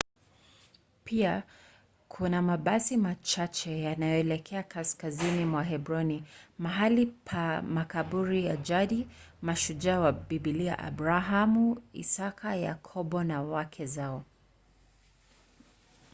pia kuna mabasi machache yanayoelekea kaskazini mwa hebroni mahali pa makaburi ya jadi ya mashujaa wa biblia abrahamu isaka yakobo na wake zao